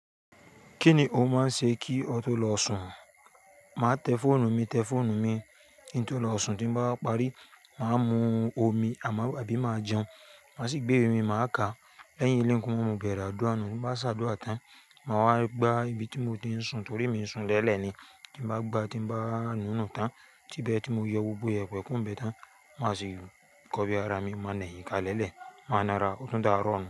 Kíni ó máa ń ṣe kí ọ tó lọ sùn? Máa tẹ fóònù mi, tẹ fóònù mi kí ń tó lọ sùn, tí n bá parí, màá mú omi àbí máa jẹun. Màá sì gbé iwe mi, màá ká. Lẹ́yìn ilé ń gùn, mo bẹ̀rẹ̀ àdúrà. N bá ṣá àdúrà tán, màá wá gbá ibi tí mo ti ń sùn torí mi ń sùn lẹ́elẹ̀ ni. Tí bá gbá tí bá nù nu tán, tí ibẹ̀- tí mo yọ gbogbo iyẹ̀pẹ̀ kúro n bẹ̀ tán, màá sì kọbi ara mi, màá nà eyín ká lẹ́lẹ̀, màá nára, ọtún dáàrọ́ nu.